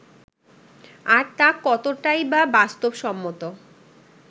আর তা কতটাই বা বাস্তবসম্মত